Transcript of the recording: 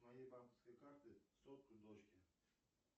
с моей банковской карты сотку дочке